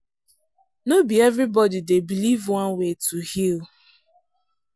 no be everybody dey believe one way to heal.